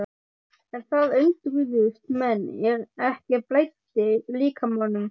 En það undruðust menn er ekki blæddi líkamanum.